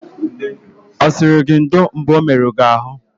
Ọ sịrị gị ndo mgbe o merụrụ gị ahụ?